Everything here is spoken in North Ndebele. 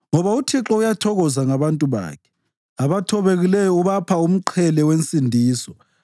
Ngoba uThixo uyathokoza ngabantu bakhe; abathobekileyo ubapha umqhele wensindiso.